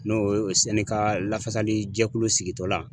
N'o ye lafasali jɛkulu sigitɔ la.